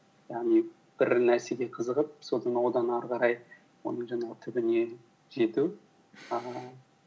яғни бір нәрсеге қызығып содан одан ары қарай оның жаңағы түбіне жету ііі